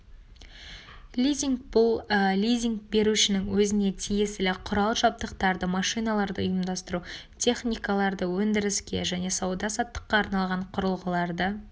лизинг бұл лизинг берушінің өзіне тиесілі құрал-жабдықтарды машиналарды ұйымдастыру техникаларды өндіріске және сауда саттыққа арналған құрылғыларды